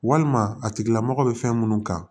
Walima a tigilamɔgɔ bɛ fɛn minnu kan